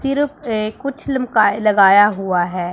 सिर पे कुछ लमकाय लगाया हुआ है।